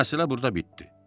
Məsələ burda bitdi.